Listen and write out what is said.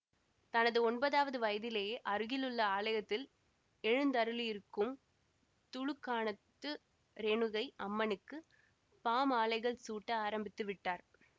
தனது ஒன்பதாவது வயதிலேயே அருகிலுள்ள ஆலயத்தில் எழுந்தருளியிருக்கும் துலுக்காணத்து ரேணுகை அம்மனுக்கு பாமாலைகள் சூட்ட ஆரம்பித்து விட்டார்